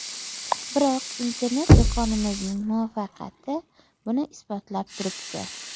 Biroq internet-do‘konimizning muvaffaqiyati buni isbotlab turibdi.